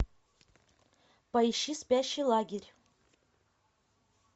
поищи спящий лагерь